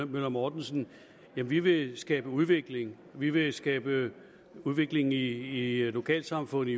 møller mortensen vi vil skabe udvikling vi vil skabe udvikling i lokalsamfundet